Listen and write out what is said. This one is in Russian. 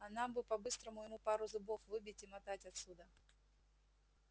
а нам бы по-быстрому ему пару зубов выбить и мотать отсюда